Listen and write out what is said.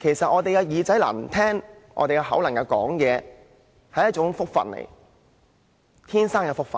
其實我們的耳朵能聽、嘴巴能說，實在是一種福氣，是自出生時便有的福氣。